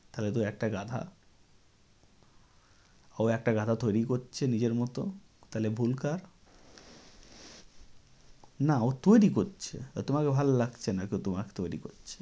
তাহলে তো ও একটা গাধা। ও একটা গাধা তৈরী করছে নিজের মত। তাহলে ভুল কার? না, ও তৈরী করছে আর তোমাকে ভাল্লাগছে না ওকে তোমাকে তৈরী করছে।